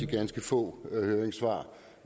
ganske få høringssvar